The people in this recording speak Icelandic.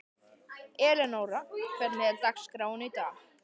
Elenóra, hvernig er dagskráin í dag?